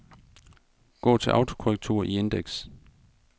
Gå til autokorrektur i indeks.